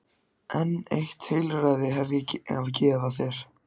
En eitt heilræði hef ég að gefa þér.